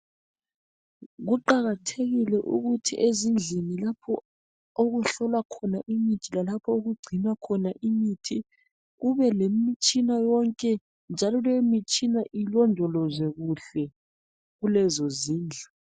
Kuqakathekile ukuthi ezindlini lapho okuhlolwa khona imithi lalapho okugcinwa khona imithi kubelemitshina yonke njalo leyomitshina ilondolozwe kuhle kulezozindlu.